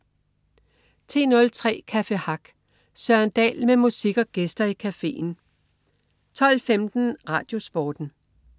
10.03 Café Hack. Søren Dahl med musik og gæster i cafeen 12.15 RadioSporten